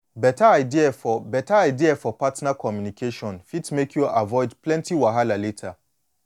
beta idea for beta idea for partner communication fit make you avoid plenty wahala later